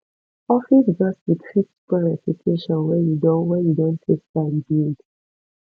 office gossip fit spoil reputation wey you don wey you don take time build